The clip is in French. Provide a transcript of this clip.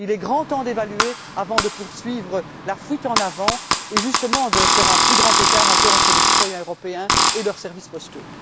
Il est grand temps d'évaluer avant de poursuivre la fuite en avant et, justement, de faire un plus grand écart encore entre les citoyens européens et leurs services postaux.